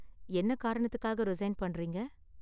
என்ன காரணத்துக்காக ரிசைன் பண்றீங்க?